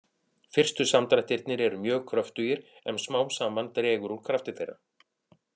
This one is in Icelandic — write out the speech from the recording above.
Fyrstu samdrættirnir eru mjög kröftugir en smám saman dregur úr krafti þeirra.